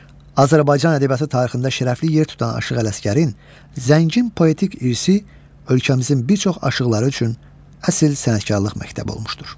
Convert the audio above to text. Azərbaycan ədəbiyyatı tarixində şərəfli yer tutan Aşıq Ələsgərin zəngin poetik irsi ölkəmizin bir çox aşıqları üçün əsil sənətkarlıq məktəbi olmuşdur.